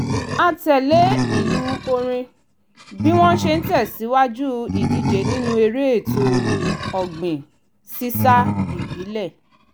a tẹ̀lé ìlù orin bí wọ́n ṣe ń tẹ̀sìwájú ìdíje nínú eré ètò ọ̀gbìn sísá ìbílẹ̀